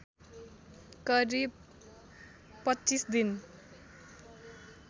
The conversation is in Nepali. करिब २५ दिन